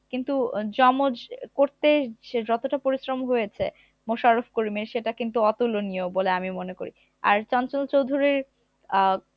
কিন্তু আহ জমজ আহ করতে যে যতটা পরিশ্রম হয়েছে মোশারফ করিমের সেটা কিন্তু অতুলনীয় বলে আমি মনে করি আর চঞ্চল চৌধুরীর আহ